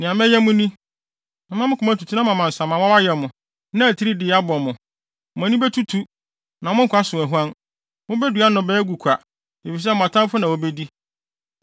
nea mɛyɛ mo ni: Mɛma mo koma atutu na mama nsamanwaw ayɛ mo, na atiridiinini abɔ mo. Mo ani betutu, na mo nkwa so ahuan. Mubedua nnɔbae agu kwa, efisɛ mo atamfo na wobedi.